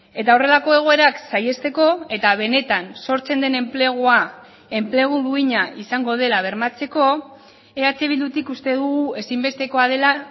eta horrelako egoerak saihesteko eta benetan sortzen den enplegua enplegu duina izango dela bermatzeko eh bildutik uste dugu ezinbestekoa dela